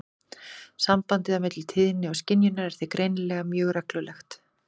Sambandið á milli tíðni og skynjunar er því greinilega mjög reglulegt.